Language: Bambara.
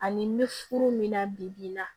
Ani n bɛ furu min na bibi in na